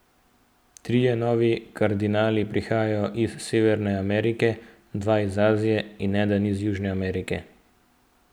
Trije novi kardinali prihajajo iz Severne Amerike, dva iz Azije in eden iz Južne Amerike.